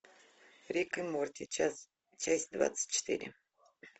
рик и морти часть двадцать четыре